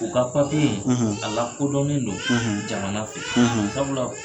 U ka papiye in a lakodɔnnen don jamana kɔnɔ sabula